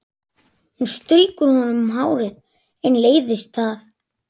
Hún strýkur honum um hárið en leiðist það.